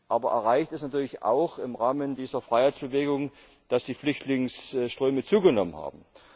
Aber erreicht ist natürlich auch im Rahmen dieser Freiheitsbewegung, dass die Flüchtlingsströme zugenommen haben.